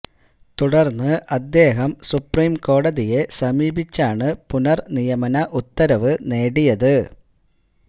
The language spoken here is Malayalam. തുടർന്ന് അദ്ദേഹം സുപ്രീം കോടതിയെ സമീപിച്ചാണ് പുനർ നിയമന ഉത്തരവ് നേടിയത്